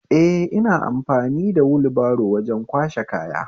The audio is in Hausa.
Eh, ina amfani wulbaro wajen kwashe kaya